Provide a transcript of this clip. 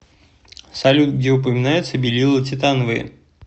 салют где упоминается белила титановые